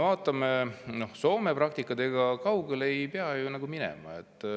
Vaatame Soome praktikat, ega kaugele ei pea ju minema.